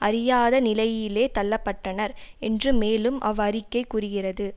அறியாத நிலையிலே தள்ள பட்டனர் என்று மேலும் அவ் அறிக்கை கூறிகிறது